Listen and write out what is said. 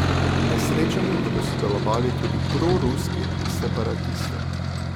Na srečanju bodo sodelovali tudi proruski separatisti.